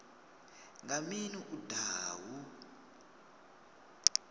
nga mini u daha hu